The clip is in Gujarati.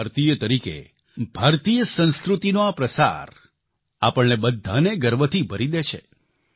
એક ભારતીય તરીકે ભારતીય સંસ્કૃતિનો આ પ્રસાર આપણને બધાને ગર્વથી ભરી દે છે